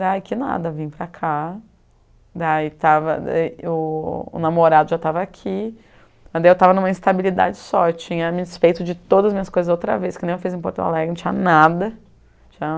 Daí que nada, vim para cá, daí estava, o o namorado já estava aqui, eu estava em uma instabilidade só, tinha me desfeito de todas as minhas coisas outra vez, que nem eu fiz em Porto Alegre, não tinha nada, tinha